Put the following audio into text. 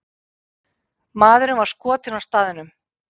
Maðurinn var skotinn á staðnum.